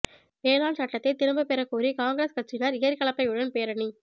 வேளாண் சட்டத்தை திரும்ப பெற கோரி காங்கிரஸ் கட்சியினர் ஏர் கலப்பையுடன் பேரணி